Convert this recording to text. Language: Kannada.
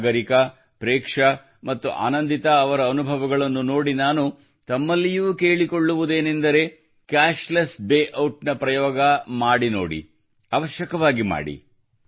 ಸಾಗರಿಕಾ ಪ್ರೇಕ್ಷಾ ಮುತ್ತು ಆನಂದಿತಾ ಅವರ ಅನುಭವಗಳನ್ನು ನೋಡಿ ನಾನು ತಮ್ಮಲ್ಲಿಯೂ ಕೂಡ ಕೇಳಿಕೊಳ್ಳುವುದೇನೆಂದರೆ cashless day out cashless day out ನ ಪ್ರಯೋಗ ಮಾಡಿ ನೋಡಿ ಅವಶ್ಯವಾಗಿ ಮಾಡಿರಿ